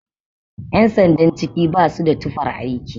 Yan sandan ciki ba su da tufar aiki